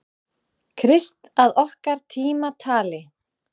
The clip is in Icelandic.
Krist að okkar tímatali.